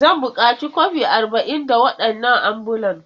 Zan buƙaci kwafi arba'in na waɗannan ambulan.